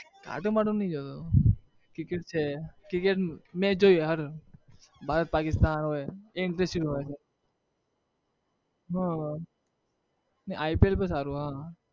cartoon બાર્ટૂન નઈ જતો cricket છે cricket match હર ભારત પાકિસ્તાન હોય એ interesting હોય છે હ ને IPL પન સારું હ